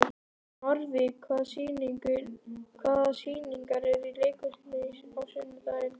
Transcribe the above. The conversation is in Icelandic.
Narfi, hvaða sýningar eru í leikhúsinu á sunnudaginn?